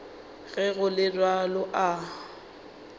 ge go le bjalo a